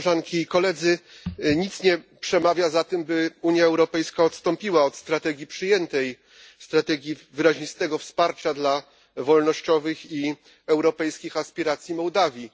Nic nie przemawia za tym, by Unia Europejska odstąpiła od przyjętej strategii wyraźnego wsparcia dla wolnościowych i europejskich aspiracji Mołdawii.